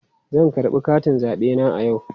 Zan karɓi katin zabe na a yau.